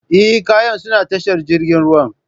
Eh, kayan suna tashar jirgin ruwan.